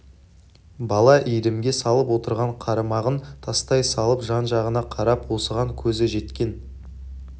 бала иірімге салып отырған қармағын тастай салып жан-жағына қарап осыған көзі жеткен